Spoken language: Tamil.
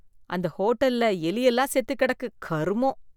அந்த ஹோட்டல்ல எலி எல்லாம் செத்து கிடக்கு கருமம்.